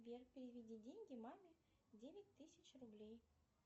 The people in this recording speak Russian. сбер переведи деньги маме девять тысяч рублей